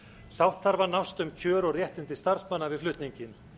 sátt þarf að nást um kjör og réttindi starfsmanna við flutninginn